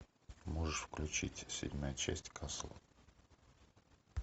можешь включить седьмая часть касл